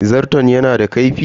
Zarton yana da kaifi?